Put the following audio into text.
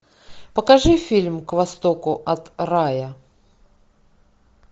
покажи фильм к востоку от рая